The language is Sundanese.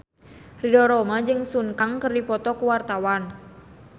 Ridho Roma jeung Sun Kang keur dipoto ku wartawan